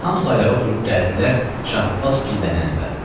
Hamısı ayağa durub gəldilər Şah Abbas gizlənən evə.